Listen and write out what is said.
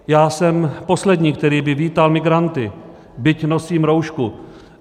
Já jsem poslední, který by vítal migranty, byť nosím roušku.